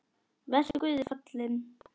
Vertu Guði falinn.